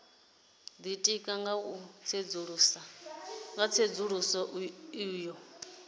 ditika nga u tsedzuluso yo